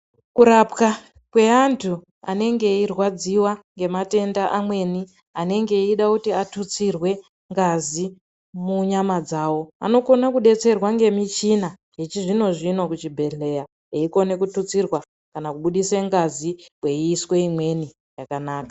Kurapwa kweantu anenge eirwadziwa ngematenda amweni anenge achiits kuti atutsirwe ngazi munyama dzawo anokona kubatsirwa ngemishina yechizvinozvino kuchibhedhleya eikona kututsirwa kana kubudiswa ngazi kweyiiswa imweni yakanaka.